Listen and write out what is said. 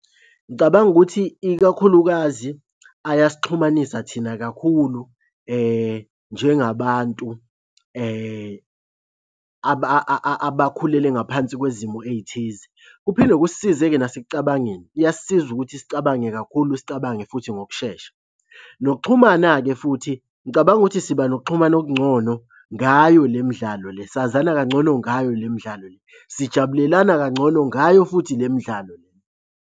Ngicabanga ukuthi ikakhulukazi ayasixhumanisa thina kakhulu njengabantu abakhulele ngaphansi kwezimo ey'thize. Kuphinde kusize-ke nasekucabangeni, iyasisiza ukuthi sicabange kakhulu, sicabange futhi ngokushesha. Nokuxhumana-ke futhi ngicabanga ukuthi siba nokuxhumana okungcono ngayo le midlalo le, sazana kangcono ngayo le midlalo le. Sijabulelana kangcono ngayo futhi le midlalo le.